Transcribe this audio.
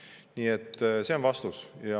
Nii et see on vastus.